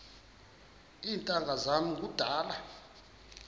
iintanga zam kudala